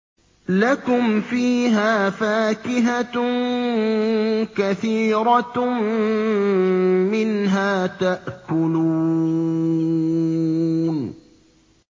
لَكُمْ فِيهَا فَاكِهَةٌ كَثِيرَةٌ مِّنْهَا تَأْكُلُونَ